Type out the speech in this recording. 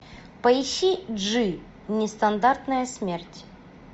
поищи джи нестандартная смерть